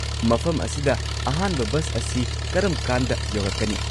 ꯃꯐꯝ ꯑꯁꯤꯗ ꯑꯍꯥꯟꯕ ꯕꯁ ꯑꯁꯤ ꯀꯔꯝꯀꯥꯟꯗ ꯌꯧꯔꯛꯀꯅꯤ?